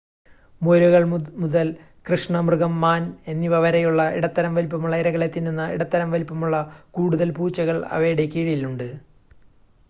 മുയലുകൾ മുതൽ കൃഷ്ണമൃഗം മാൻ എന്നിവ വരെയുള്ള ഇടത്തരം വലുപ്പമുള്ള ഇരകളെ തിന്നുന്ന ഇടത്തരം വലുപ്പമുള്ള കൂടുതൽ പൂച്ചകൾ അവയുടെ കീഴിലുണ്ട്